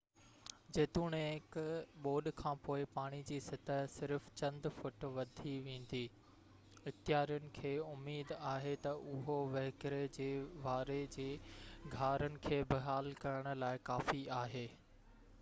جيتوڻيڪ ٻوڏ کانپوءِ پاڻي جي سطح صرف چند فوٽ وڌي ويندي اختيارين کي اميد آهي ته اهو وهڪري جي واري جي گهارن کي بحال ڪرڻ لاءِ ڪافي آهي